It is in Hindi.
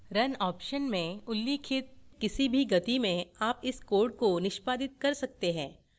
run option में उल्लिखित किसी भी गति में आप इस code को निष्पादित कर सकते है